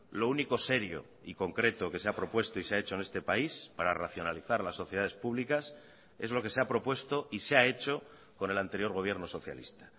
lo único serio y concreto que se ha propuesto y se ha hecho en este país para racionalizar las sociedades públicas es lo que se ha propuesto y se ha hecho con el anterior gobierno socialista